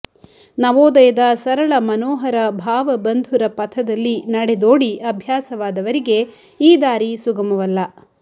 ನವೋದಯದ ಸರಳ ಮನೋಹರ ಭಾವಬಂಧುರ ಪಥದಲ್ಲಿ ನಡೆದೋಡಿ ಅಭ್ಯಾಸವಾದವರಿಗೆ ಈ ದಾರಿ ಸುಗಮವಲ್ಲ